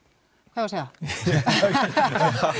hvað á að segja h